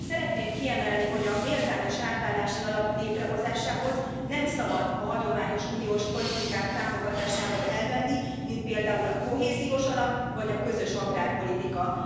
Szeretném kiemelni, hogy a méltányos átállási alap létrehozásához nem szabad a hagyományos uniós politikák támogatásából elvenni, mint például a kohéziós alap vagy a közös agrárpolitika.